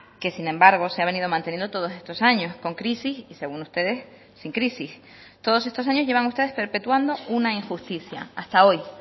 que sin embargo se ha venido manteniendo todos estos años con crisis y según ustedes sin crisis todos estos años llevan ustedes perpetuando una injusticia hasta hoy